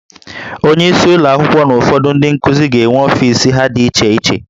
Onyeisi ụlọ akwụkwọ na ụfọdụ ndị nkuzi ga-enwe ọfis ha dị iche iche